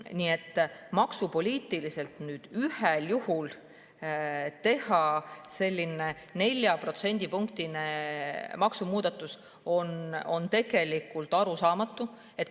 Nii et maksupoliitiliselt on ühel juhul sellise 4%‑lise maksumuudatuse tegemine tegelikult arusaamatu.